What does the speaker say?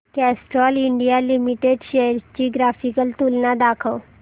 Castrol India limited shares ची graphical तुलना दाखव